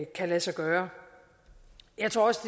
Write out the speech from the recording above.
kan lade sig gøre jeg tror også